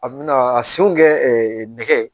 A bɛna a senw kɛ nɛgɛ